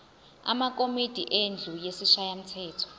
amakomidi endlu yesishayamthetho